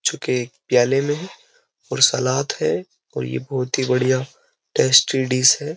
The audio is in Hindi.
जो कि एक प्याले में और सलाद है और ये बहुत ही बढ़िया टेस्टी डिश है।